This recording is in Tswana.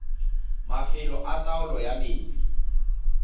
mafelo a taolo ya metsi